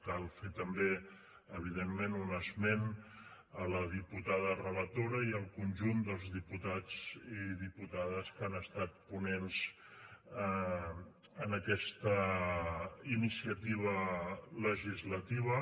cal fer també evidentment un esment a la diputada relatora i al conjunt dels diputats i diputades que han estat ponents en aquesta iniciativa legislativa